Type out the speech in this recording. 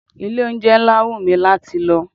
Ilé-oúnjẹ ńlá wù mi láti lọ.